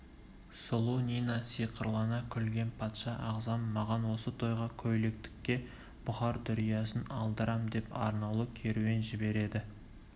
сұлу нина сиқырлана күлген патша ағзам маған осы тойға көйлектікке бұхар дүриясын алдырам деп арнаулы керуен жібереді